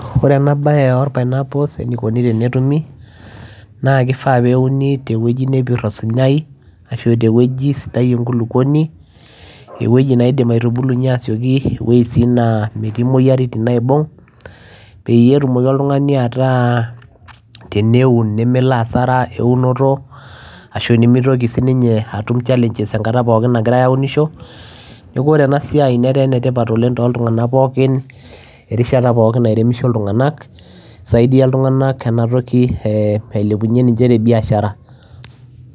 Ore ena bae or pineapple enikoni tene tumi naa kifaa pee euni te wueji nepir osinyaei ashu te wueji sidai enkuluponi ewueji neidim aitubulunye asieki ewueji si naa metii muyiaritin naibung peyie etumoki oltungani ataa teneun nemelo asara eunoto ashu nemeitoki si ninye atum challenges ekata pookin nagirae aunisho neaku ore ena siai netaa enetipat oooleng toltungana pooki erishata pooki naunisho iltungana isaidia iltungana aisaidia ailepunye ninche te biashara.